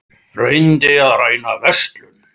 Reyndi að ræna verslun